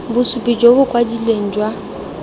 bosupi jo bo kwadilweng jwa